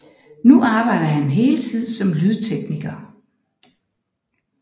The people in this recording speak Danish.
Nu arbejder han heltid som lydtekniker